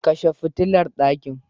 Kshe fitilar ɗakin.